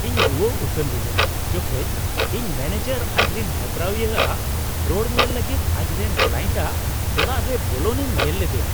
ᱤᱧ ᱨᱩᱣᱟᱹ ᱩᱛᱟᱹᱨ ᱞᱤᱱᱟᱹᱧ ᱡᱚᱠᱷᱮᱡ ᱤᱧ ᱢᱮᱱᱮᱡᱟᱨ ᱟᱡᱨᱮᱱ ᱦᱮᱯᱨᱟᱣᱤᱭᱟᱹ ᱟᱜ ᱨᱚᱲ ᱧᱮᱞ ᱞᱟᱹᱜᱤᱫ ᱟᱡᱨᱮᱱ ᱠᱞᱟᱭᱮᱱᱴᱟᱜ ᱚᱲᱟᱜ ᱨᱮ ᱵᱚᱞᱚᱜ ᱤᱧ ᱧᱮᱞ ᱞᱮᱫᱮᱭᱟ ᱾